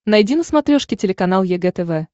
найди на смотрешке телеканал егэ тв